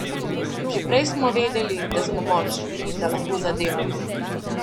Že prej smo vedeli, da smo močni, da lahko zadevamo.